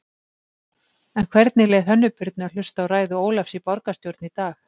En hvernig leið Hönnu Birnu að hlusta á ræðu Ólafs í borgarstjórn í dag?